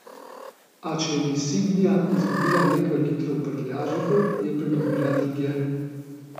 A če je insignia izgubila nekaj litrov v prtljažniku, je pridobila drugje.